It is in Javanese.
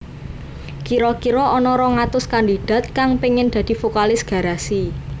Kira kira ana rong atus kandidat kang pengin dadi vokalis Garasi